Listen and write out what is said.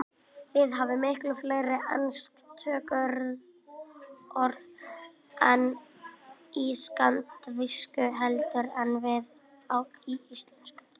Þið hafið miklu fleiri ensk tökuorð í skandinavísku heldur en við í íslensku.